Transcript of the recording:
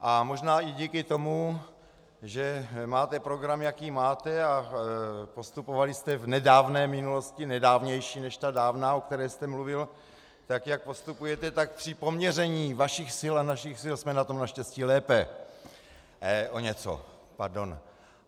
A možná i díky tomu, že máte program, jaký máte, a postupovali jste v nedávné minulosti, nedávnější než ta dávná, o které jste mluvil, tak, jak postupujete, tak při poměření vašich sil a našich sil jsme na tom naštěstí lépe - o něco, pardon.